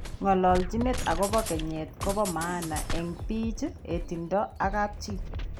Ngolochinet agobo keneyeek kobo maana en biik hetindo ak kapchi.